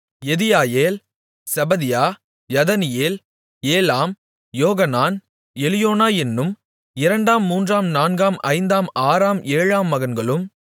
Jediael Zebadiah Jathniel Elam Johanan Elioenai என்னும் இரண்டாம் மூன்றாம் நான்காம் ஐந்தாம் ஆறாம் ஏழாம் மகன்களும்